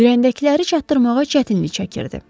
Ürəyindəkiləri çatdırmağa çətinlik çəkirdi.